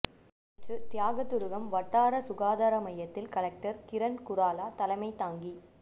நேற்று தியாகதுருகம் வட்டார சுகாதார மையத்தில் கலெக்டர் கிரண் குராலா தலைமை தாங்கி